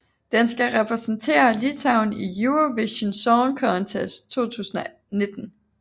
Den skal repræsentere Litauen i Eurovision Song Contest 2019